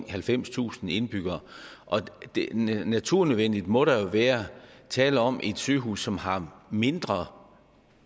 halvfemstusind indbyggere naturligvis må der nødvendigvis være tale om et sygehus som har mindre